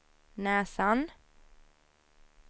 näsan